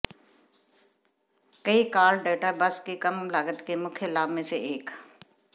कई call data बस की कम लागत के मुख्य लाभ में से एक